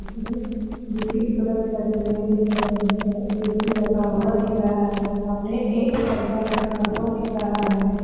इसमें beauty product लगे हुए दिख रहे हैं ऐ. सी. लगा हुआ दिख रहा हैं सामने एक पर्दा लटका हुआ दिख रहा हैं।